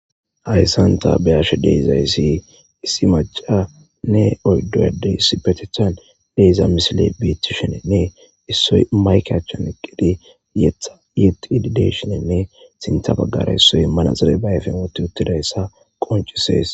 Hayssan ta be'ashe de'iza issi issi macanne oyddu addene issipetethan de'iza misile beetishenenne issoy mayike achan eqqidi yetha yetidi de'iyshenenne sintha baggara issoy manaxire ba ayifen woththi uttida issa qoncisees.